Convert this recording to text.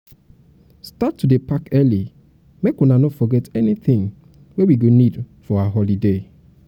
start to dey pack early make una no forget anything wey we go need for our holiday.